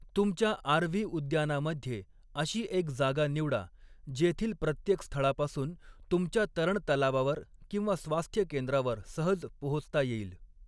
तुमच्या आर.व्ही. उद्यानामध्ये अशी एक जागा निवडा, जेथील प्रत्येक स्थळापासून तुमच्या तरणतलावावर किंवा स्वास्थ्य केंद्रावर सहज पोहोचता येईल.